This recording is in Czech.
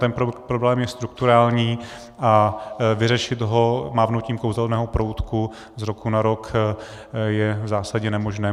Ten problém je strukturální a vyřešit ho mávnutím kouzelného proutku z roku na rok je v zásadě nemožné.